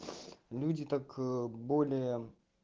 люди так более